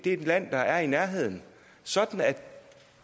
et land der er i nærheden sådan at